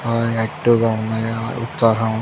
ఆ ఆక్టివ్ గా ఉన్నాయి ఆ ఉత్సాహం--